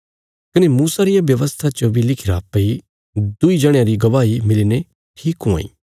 कने मूसा रिया व्यवस्था च बी लिखिरा भई दुईं जणयां री गवाही मिलीने ठीक हुआं इ